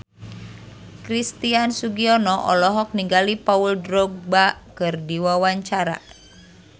Christian Sugiono olohok ningali Paul Dogba keur diwawancara